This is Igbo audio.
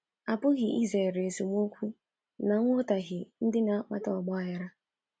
A pụghị izere esemokwu na nghọtahie ndị na-akpata ọgbaghara.